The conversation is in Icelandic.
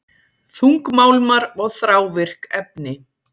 Þungmálmar og þrávirk efni